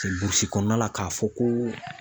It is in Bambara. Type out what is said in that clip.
Ee Burusi kɔnɔna la k'a fɔ ko